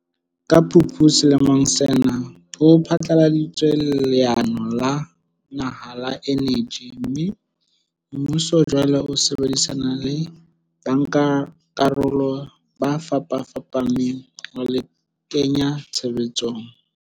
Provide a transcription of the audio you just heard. Ka Phupu selemong sena ho phatlaladitswe leano la naha la eneji mme, mmuso jwale o sebedisana le bankakarolo ba fapafapaneng ho le kenya tshebetsong.